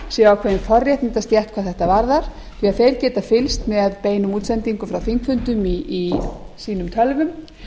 sé ákveðin forréttindastétt hvað þetta varðar því þeir geta fylgst með beinum útsendingum frá þingfundum í sínum tölvum